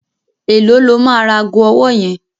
Èló lo máa ra ago ọwọ́ yẹn?